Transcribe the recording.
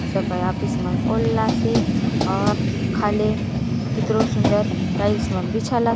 सफय ऑफिस मा ओल्लासे और खाले कितरो सुन्दर टाइल्स बिछल आसे।